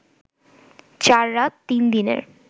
৪ রাত ৩ দিনের